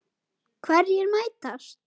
Hverjir mætast?